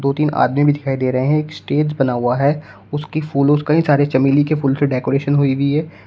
दो तीन आदमी भी दिखाई दे रहे है एक स्टेज बना हुआ है उसकी फूलों कई सारे चमेली के फूल से डेकोरेशन हुई भी है।